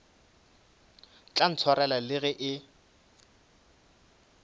tla ntshwarela le ge e